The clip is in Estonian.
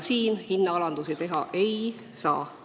Siin hinnaalandusi teha ei saa.